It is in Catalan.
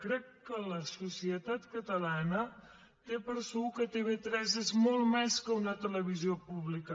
crec que la societat ca·talana té per segur que tv3 és molt més que una tele·visió pública